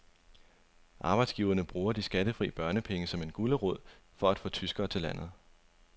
Arbejdsgiverne bruger de skattefri børnepenge som gulerod for at få tyskere til landet.